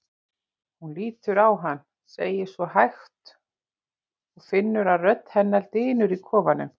Hún lítur á hann, segir svo hægt og finnur að rödd hennar dynur í kofanum.